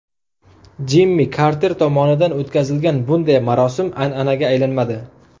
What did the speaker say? Jimmi Karter tomonidan o‘tkazilgan bunday marosim an’anaga aylanmadi.